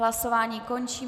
Hlasování končím.